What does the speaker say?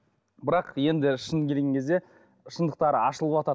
бірақ енді шынына келген кезде шындықтары ашылыватады